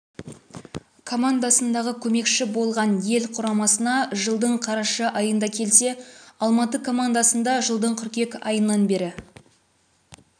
командасындағы көмекші болған ел құрамасына жылдың қараша айында келсе алматы командасында жылдың қыркүйек айынан бері